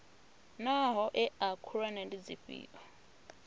naa hoea khulwane ndi dzifhio